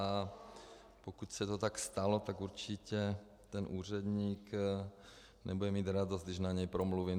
A pokud se to tak stalo, tak určitě ten úředník nebude mít radost, když na něj promluvím.